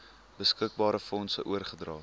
beskikbare fondse oorgedra